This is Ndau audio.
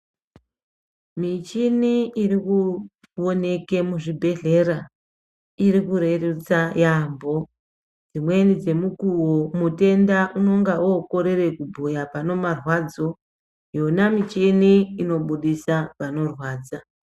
Michini irikuwoneke muzvibhedhlera irikurerutsa yaambo dzimweni dzemukuwo mutenda unenge okorere kubhuya panemarwadzo yona muchini inobudisa panorwadza.